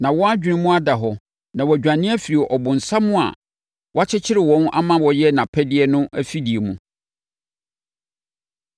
Na wɔn adwene mu ada hɔ na wɔadwane afiri ɔbonsam a wakyekyere wɔn ama wɔyɛ nʼapɛdeɛ no afidie mu.